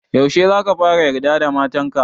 Yaushe za ka fara yarda da matan ka?